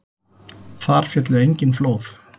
Þar féllu engin flóð.